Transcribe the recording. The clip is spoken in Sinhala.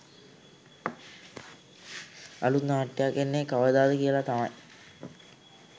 අලුත් නාට්‍යයක් එන්නේ කවදාද කියලා තමයි.